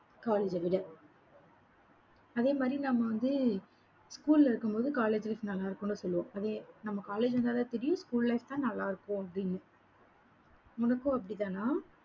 college அ விட. அதே மாதிரி நம்ம வந்து school ல இருக்கும்போது, colleges நல்லாருக்கும்னு சொல்லுவோம். அதே நம்ம college வந்தாதான் தெரியும் school life தான் நல்லா இருக்கும், அப்படின்னு. உனக்கும் அப்படித்தானா